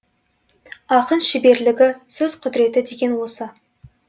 ақын шеберлігі сөз құдіреті деген осы